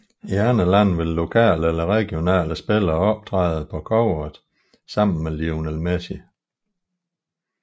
I andre lande vil lokale eller regionale spillere optræde på coveret sammen med Lionel Messi